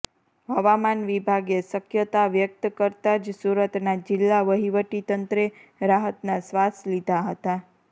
હવામાન વિભાગે શકયતા વ્યકત કરતા જ સુરતના જિલ્લા વહીવટીતંત્રે રાહતના શ્વાસ લીધા હતા